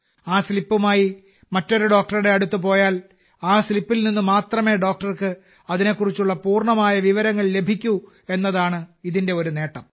ആ സ്ലിപ്പുമായി മറ്റൊരു ഡോക്ടറുടെ അടുത്ത് പോയാൽ ആ സ്ലിപ്പിൽ നിന്ന് മാത്രമേ ഡോക്ടർക്ക് അതിനെക്കുറിച്ചുള്ള പൂർണ്ണമായ വിവരങ്ങൾ ലഭിക്കൂ എന്നതാണ് ഇതിന്റെ ഒരു നേട്ടം